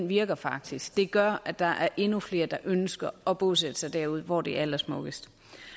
virker faktisk det gør at der er endnu flere der ønsker at bosætte sig derude hvor det er allersmukkest